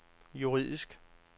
juridisk